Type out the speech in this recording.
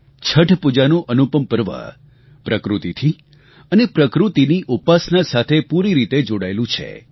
છઠ પૂજાનું અનુપમ પર્વ પ્રકૃતિથી અને પ્રકૃતિની ઉપાસના સાથે પૂરી રીતે જોડાયેલું છે